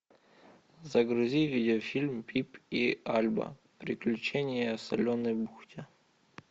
загрузи видеофильм пип и альба приключения в соленой бухте